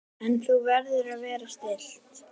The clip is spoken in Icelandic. En þú verður að vera stillt.